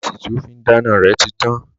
Gáàsì tí ó fín dáná rẹ̀ ti tán